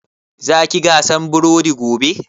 Za ki gasa burodi gobe?